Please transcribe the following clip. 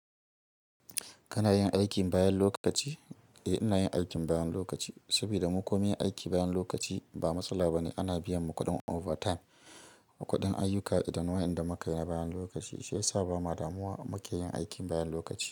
Kana yin aikin bayan lokaci? Eh, ina yin aikin bayan lokaci sabida mu ko munyi aiki bayan lokaci ba matsala ba ne. Ana biyan mu kuɗin overtime, kuɗin ayyuka idan wayanda muka yi na bayan lokaci, shi ya sa ba ma damuwa mu ke yin aikin bayan lokaci.